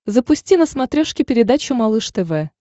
запусти на смотрешке передачу малыш тв